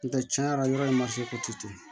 N tɛ tiɲɛ yɛrɛ la yɔrɔ in ma se ka te to ye